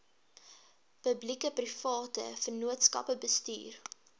publiekeprivate vennootskappe bestuur